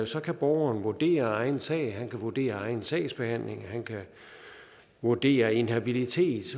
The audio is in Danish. så kan borgeren vurdere egen sag han kan vurdere egen sagsbehandling han kan vurdere inhabilitet